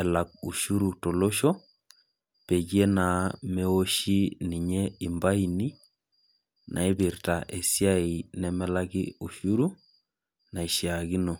elak ushuru tolosho peyie naa meoshi ninye ifaini naipirta esiai nemelaki ushuru, naishaakino.